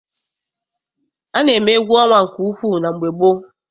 A na-eme egwu ọnwa nke ukwu na mgbe gboo.